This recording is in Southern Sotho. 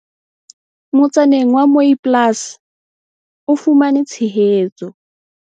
Motsaneng wa Mooiplaas o fumane tshehetso.